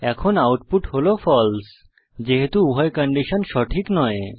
এখন আউটপুট হল ফালসে যেহেতু উভয় কন্ডিশন সঠিক নয়